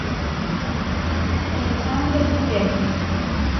александр бубякин